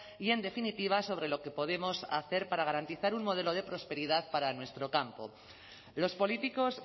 y en definitiva sobre lo que podemos hacer para garantizar un modelo de prosperidad para nuestro campo los políticos